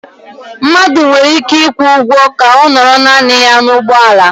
Mmadụ nwere ike ịkwụ ụgwọ ka ọ nọrọ naanị ya n'ụgbọala